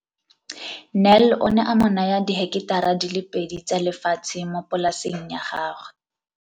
Nel o ne a mo naya diheketara di le pedi tsa lefatshe mo polaseng ya gagwe.